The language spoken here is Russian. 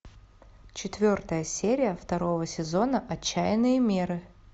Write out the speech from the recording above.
четвертая серия второго сезона отчаянные меры